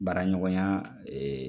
Baara ɲɔgɔnya